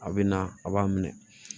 A bɛ na a b'a minɛ